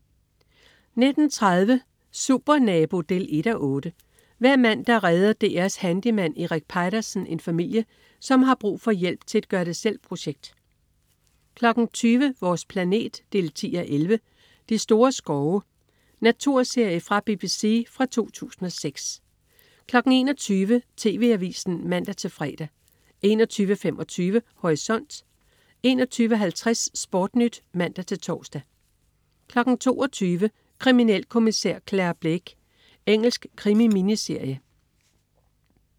19.30 Supernabo 1:8. Hver mandag redder DR's handyman Erik Peitersen en familie, som har brug for hjælp til et gør det selv-projekt 20.00 Vores planet 10:11. "De store skove". Naturserie fra BBC fra 2006 21.00 TV Avisen (man-fre) 21.25 Horisont 21.50 SportNyt (man-tors) 22.00 Kriminalkommissær Clare Blake. Engelsk krimi-miniserie